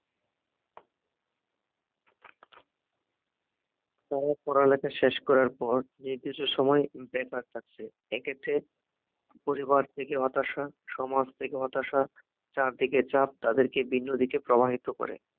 কারণ তারা পড়ালেখা শেষ করার পর নির্দিষ্ট সময়ের বেকার থাকছে, এক্ষেত্রে পরিবার থেকে হতাশা, সমাজ থেকে হতাশা, চারদিকে চাপ তাদেরকে ভিন্ন দিকে প্রবাহিত করে